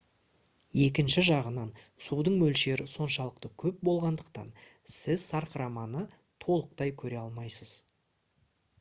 екінші жағынан судың мөлшері соншалықты көп болғандықтан сіз сарқыраманы толықтай көре алмайсыз